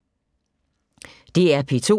DR P2